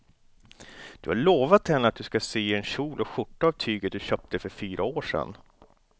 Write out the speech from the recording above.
Du har lovat henne att du ska sy en kjol och skjorta av tyget du köpte för fyra år sedan.